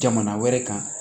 Jamana wɛrɛ kan